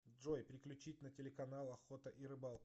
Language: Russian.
джой переключить на телеканал охота и рыбалка